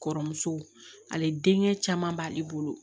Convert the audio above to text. Kɔrɔmuso ale denkɛ caman b'ale bolo